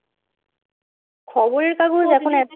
খবরের কাগজ এখন